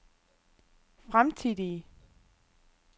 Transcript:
fremtidige